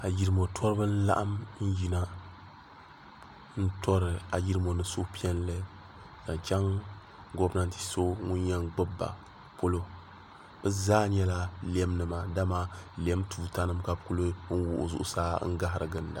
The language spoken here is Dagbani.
a yirimo tubi n laɣim n yina n turi ayirimo ni suhipiɛli zaŋ chɛŋ gominatɛ so ŋɔ yin gbaba polo be zaa nyɛla lɛmnima lɛm tutanim ka be kuli wuɣ' zuɣ saa n gahiri gilinda